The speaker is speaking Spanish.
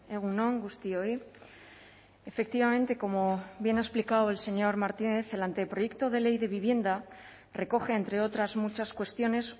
egun on guztioi efectivamente como bien ha explicado el señor martínez el anteproyecto de ley de vivienda recoge entre otras muchas cuestiones